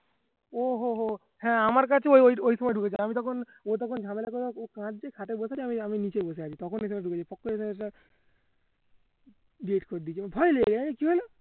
ওহো হো হ্যাঁ আমার কাছে ও ওই ওই ফোন এ ঢুকেছে আমি তখন আমি তখন ঝামেলা করার খাতে বসে আছি আমি নিচেই বসে আছি তখন কি হলো